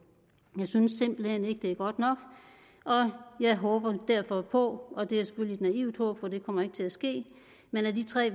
jeg synes simpelt hen ikke det er godt nok og jeg håber derfor på noget og det er selvfølgelig et naivt håb for det kommer ikke til at ske men af de tre